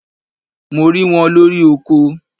Mo ri wọn lori oko